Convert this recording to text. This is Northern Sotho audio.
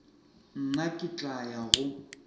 nna ke tla ya go